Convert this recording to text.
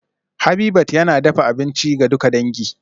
Habitat yana dafa abinci ga duka dangi